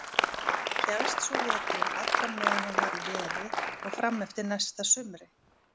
Hélst svo veturinn allan meðan hann var í veri og fram eftir næsta sumri.